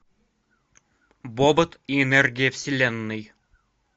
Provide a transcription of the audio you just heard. бобот и энергия вселенной